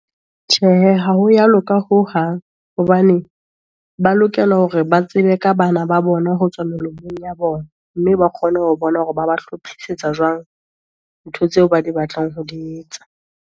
Tjhe, ha ho ya loka hohang, hobane ba lokela hore ba tsebe ka bana ba bona, ho tswa ya bona. Mme ba kgone ho bona hore ba ba hlophisetsa jwang, ntho tseo ba di batlang ho di etsa.